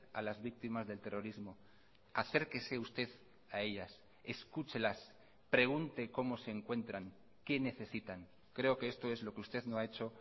a las víctimas del terrorismo acérquese usted a ellas escúchelas pregunte cómo se encuentran qué necesitan creo que esto es lo que usted no ha hecho